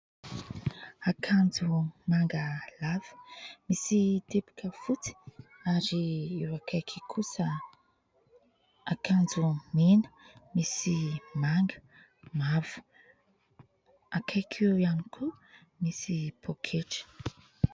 Akanjo manga lava misy tepika fotsy ary eo akaiky kosa akanjo mena misy manga, mavo. Akaiky eo ihany koa misy poketra.